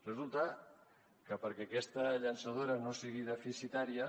resulta que perquè aquesta llançadora no sigui deficitària